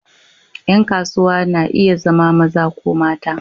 Ƴan kasuwa na iya zama maza ko mata.